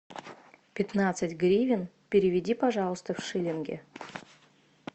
пятнадцать гривен переведи пожалуйста в шиллинги